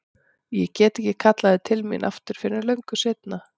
Og ég get ekki kallað þau til mín aftur fyrr en löngu seinna.